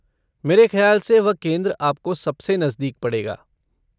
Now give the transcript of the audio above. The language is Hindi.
मेरे ख्याल से वह केंद्र आपको सबसे नजदीक पड़ेगा।